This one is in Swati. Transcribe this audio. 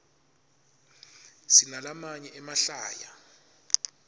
sinalamanye emahlaya